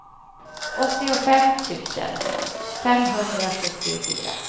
åttiofem tusen femhundrasjuttiofyra